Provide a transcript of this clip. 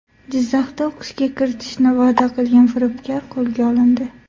Jizzaxda o‘qishga kiritishni va’da qilgan firibgar qo‘lga olindi.